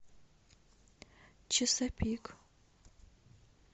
чесапик